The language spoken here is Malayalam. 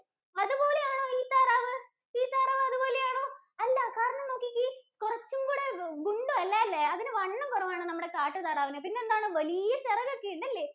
അതുപോലെയാണോ ഈ താറാവ്? ഈ താറാവ് അതുപോലെയാണോ, അല്ല കാരണം നോക്കിക്കേ കുറച്ചും കൂടെ ഗുണ്ടും അല്ലാല്ലേ. അതിന് വണ്ണം കുറവാണ്. നമ്മുടെ കാട്ടുതാറാവിന്. പിന്നെ എന്താണ് വലിയ ചിറകൊക്കെയുണ്ടല്ലേ.